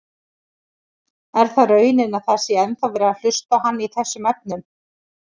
Er það raunin að það sé ennþá verið að hlusta á hann í þessum efnum?